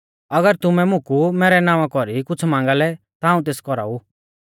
अगर तुमै मुकु मैरै नावां कौरी कुछ़ मांगा लै ता हाऊं तेस कौराऊ